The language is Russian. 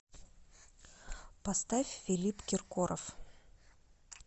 поставь филипп киркоров